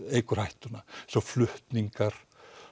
eykur hættuna svo flutningar